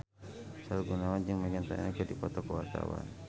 Sahrul Gunawan jeung Meghan Trainor keur dipoto ku wartawan